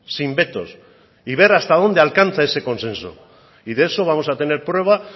sin vetos y ver hasta dónde alcanza ese consenso y de eso vamos a tener prueba